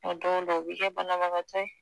don dɔw u bi kɛ banabagatɔ ye.